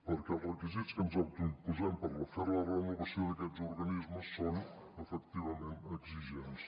perquè els requisits que ens autoimposem per fer la renovació d’aquests organismes són efectivament exigents